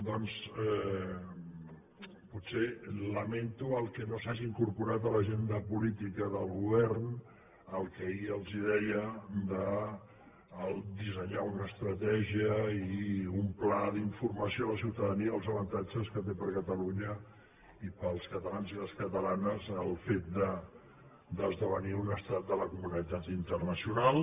doncs potser lamento que no s’hagi incorporat en l’agenda política del govern el que ahir els deia de dissenyar una estratègia i un pla d’informació a la ciutadania dels avantatges que té per a catalunya i per als catalans i les catalanes el fet d’esdevenir un estat de la comunitat internacional